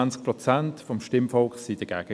Nur 20 Prozent aus dem Stimmvolk waren dagegen.